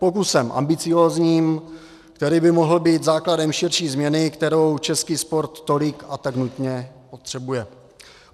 Pokusem ambiciózním, který by mohl být základem širší změny, kterou český sport tolik a tak nutně potřebuje.